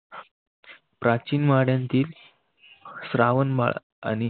प्राचीन वाड्यातील श्रावण बाळ आणि